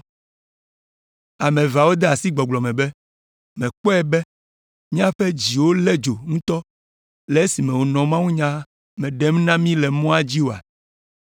Ame eveawo de asi gbɔgblɔ me be, “Mèkpɔe be míaƒe dziwo lé dzo ŋutɔ le esime wònɔ mawunya la me ɖem na mí le mɔa dzi oa?”